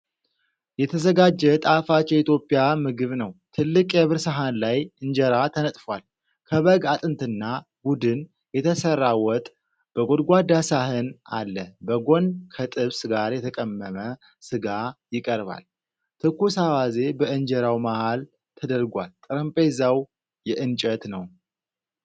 የተዘጋጀ ጣፋጭ የኢትዮጵያ ምግብ ነው። ትልቅ የብር ሰሐን ላይ እንጀራ ተነጥፏል። ከበግ አጥንትና ጎድን የተሠራ ወጥ በጎድጓዳ ሳህን አለ። በጎን ከጥብስ ጋር የተቀመመ ሥጋ ይቀርባል። ትኩስ አዋዜ በእንጀራው መሃል ተደርጓል። ጠረጴዛው የእንጨት ነው።